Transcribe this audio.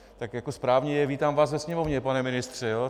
Tak jako správně, vítám vás ve Sněmovně, pane ministře.